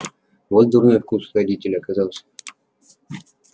вот дурной вкус у родителя оказался